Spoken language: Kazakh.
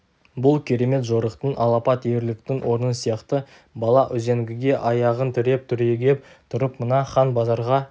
бұл керемет жорықтың алапат ерліктің орны сияқты бала үзеңгіге аяғын тіреп түрегеп тұрып мына хан базарға